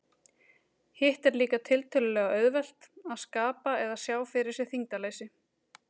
Hitt er líka tiltölulega auðvelt, að skapa eða sjá fyrir sér þyngdarleysi.